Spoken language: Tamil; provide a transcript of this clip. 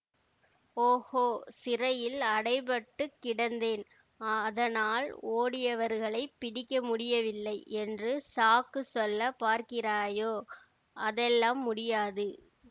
ஓகோ சிறையில் அடைப்பட்டுக் கிடந்தேன் அதனால் ஓடியவர்களைப் பிடிக்க முடியவில்லை என்று சாக்கு சொல்ல பார்க்கிறாயோ அதெல்லாம் முடியாது